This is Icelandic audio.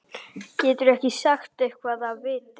Geturðu ekki sagt eitthvað af viti?